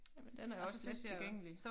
Jamen den er også lettilgængelig